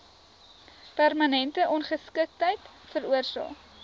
permanente ongeskiktheid veroorsaak